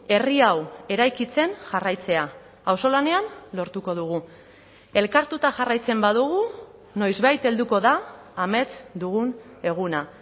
herri hau eraikitzen jarraitzea auzolanean lortuko dugu elkartuta jarraitzen badugu noizbait helduko da amets dugun eguna